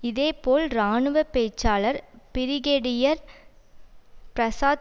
இதே போல் இராணுவ பேச்சாளர் பிரிகேடியர் பிரசாத்